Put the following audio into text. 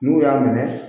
N'u y'a minɛ